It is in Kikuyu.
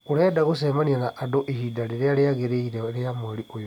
Ũngĩenda gũcemania na andũ ihinda rĩrĩa rĩagĩrĩire rĩa mweri ũyũ